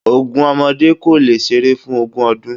Ogún ọmọdé kò lè seré fún ogún ọdún